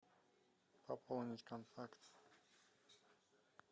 пополнить контакт